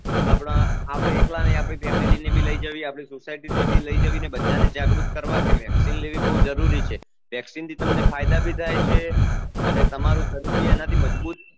આપડે એકલા ની આપડી family ને ભી લઇ જાવી આપડી society ને ભી લઈ જાવી ને બધા ને જાગૃત કરવા કે vaccine લેવી બહુ જરૂરી છે vaccine થી તમને ફાયદા ભી થાય છે અને તમારું શરીર ભી એના થી મજબુત